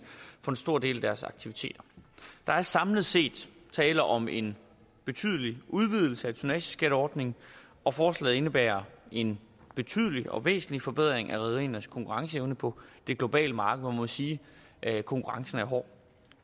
for en stor del af deres aktiviteter der er samlet set tale om en betydelig udvidelse af tonnageskatteordningen og forslaget indebærer en betydelig og væsentlig forbedring af rederiernes konkurrenceevne på det globale marked hvor man må sige at konkurrencen er hård